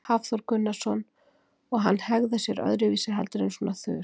Hafþór Gunnarsson: Og hann hegðar sér öðruvísi heldur en svona þurr?